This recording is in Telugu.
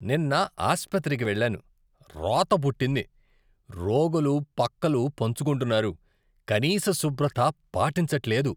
నిన్న ఆస్పత్రికి వెళ్లాను, రోత పుట్టింది. రోగులు పక్కలు పంచుకుంటున్నారు, కనీస శుభ్రత పాటించట్లేదు.